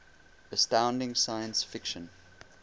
astounding science fiction